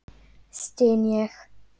styn ég.